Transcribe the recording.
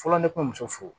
Fɔlɔ ne kun muso fo